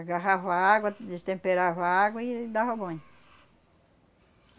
Agarrava a água, destemperava a água e aí dava banho.